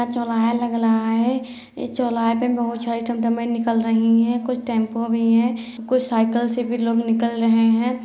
चौराहा लग रहा है इस चौराहा पे बहुत सारी टमटमें निकल रही हैं कुछ टेम्पो भी हैं कुछ साइकिल से भी लोग निकल रहें हैं।